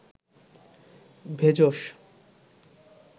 ভেষজ